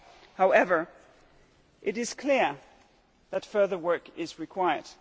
However, it is clear that further work is required.